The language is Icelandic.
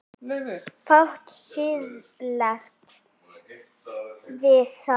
Fátt siðlegt við það?